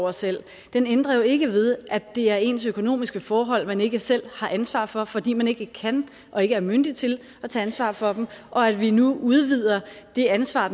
over selv ændrer jo ikke ved at det er ens økonomiske forhold man ikke selv har ansvar for fordi man ikke kan og ikke er myndig til at tage ansvar for den og at vi nu udvider det ansvar